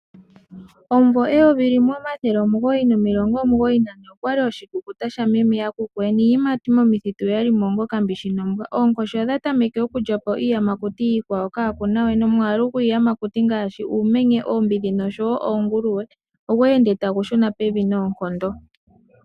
Omumvo 1992 okwa li oshikukuta sha meme yakuku niiyimati momithitu oya li mo onga okambishi nombwa. Oonkoshi odha tameke okulya po iiyamakuti iikwawo kaa ku nawe nomwaalu gwiiyamakuti ngaashi uumenye, oombidhi noshowo oonguluwe ogwe ende tagu shuna pevi noonkondo.